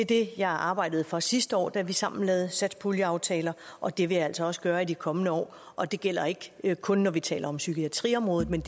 det jeg arbejdede for sidste år da vi sammen lavede satspuljeaftaler og det vil jeg altså også gøre i de kommende år og det gælder ikke ikke kun når vi taler om psykiatriområdet men